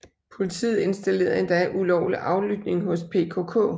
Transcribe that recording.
Politiet installerede endda ulovlig aflytning hos PKK